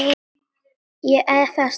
Ég efaðist aldrei.